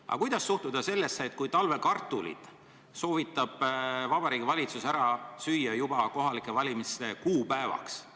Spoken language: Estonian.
Aga kuidas suhtuda sellesse, kui talvekartulid soovitab Vabariigi Valitsus ära süüa kohalike valimiste kuupäevaks?